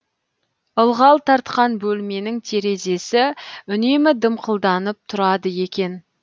ылғал тартқан бөлменің терезесі үнемі дымқылданып тұрады екен